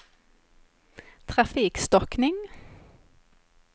trafikstockning